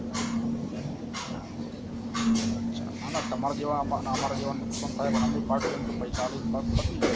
ના ના તમાર જેવા ને આમાર જેવા નુકસાન ખાય પૈસા આલી ને કામ પતિ ગયું